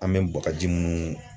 An bɛ bagaji minnu